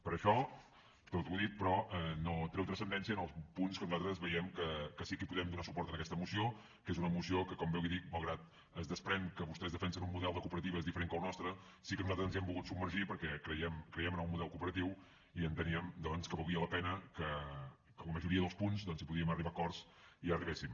per això tot el dit però no treu transcendència als punts que nosaltres veiem que sí que hi podem donar suport en aquesta moció que és una moció que com bé li dic malgrat que es desprèn que vostès defensen un model de cooperatives diferent que el nostre sí que nosaltres ens hi hem volgut submergir perquè creiem en el model cooperatiu i enteníem doncs que valia la pena que en la majoria dels punts si podíem arribar a acords hi arribéssim